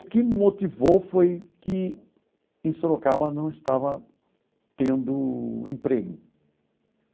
O que me motivou foi que em Sorocaba não estava tendo emprego.